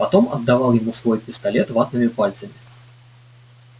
потом отдавал ему свой пистолет ватными пальцами